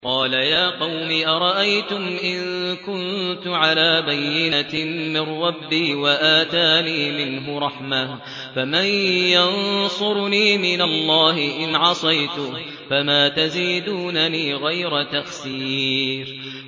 قَالَ يَا قَوْمِ أَرَأَيْتُمْ إِن كُنتُ عَلَىٰ بَيِّنَةٍ مِّن رَّبِّي وَآتَانِي مِنْهُ رَحْمَةً فَمَن يَنصُرُنِي مِنَ اللَّهِ إِنْ عَصَيْتُهُ ۖ فَمَا تَزِيدُونَنِي غَيْرَ تَخْسِيرٍ